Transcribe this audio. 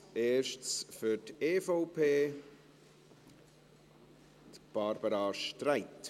Als Erstes für die EVP, Barbara Streit.